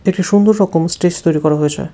একটি সুন্দর রকম স্টেজ তৈরি করা হয়েছে।